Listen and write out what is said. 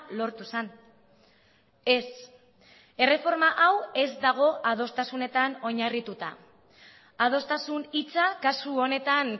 lortu zen ez erreforma hau ez dago adostasunetan oinarrituta adostasun hitza kasu honetan